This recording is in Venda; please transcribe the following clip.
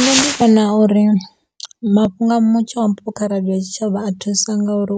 Nṋe ndi vhona uri mafhungo a mutsho o ambiwaho kha radio ya tshitshavha a thusa nga uri